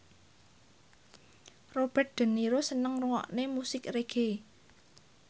Robert de Niro seneng ngrungokne musik reggae